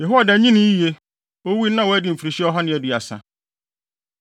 Yehoiada nyinii yiye, owui no na wadi mfirihyia ɔha ne aduasa.